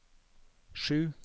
sju